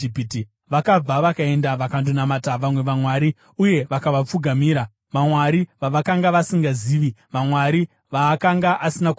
Vakabva vakaenda vakandonamata vamwe vamwari uye vakavapfugamira, vamwari vavakanga vasingazivi, vamwari vaakanga asina kuvapa.